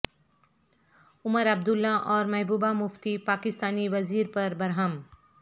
عمر عبداللہ اور محبوبہ مفتی پاکستانی وزیر پر برہم